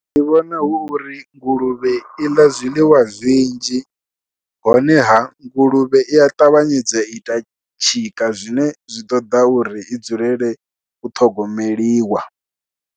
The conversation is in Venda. Ndi vhona hu uri nguluvhe i ḽa zwiḽiwa zwinzhi, honeha nguluvhe i ya ṱavhanyedza ita tshika zwine zwi ṱoḓa uri i dzulele u ṱhogomeliwa.